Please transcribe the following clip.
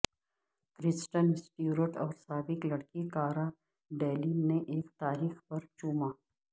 کرسٹن Stewart اور سابق لڑکی کارا ڈیلین نے ایک تاریخ پر چوما